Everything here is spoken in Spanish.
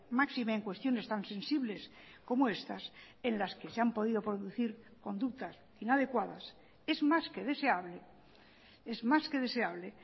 máxime en cuestiones tan sensibles como estas en las que se han podido producir conductas inadecuadas es más que deseable es más que deseable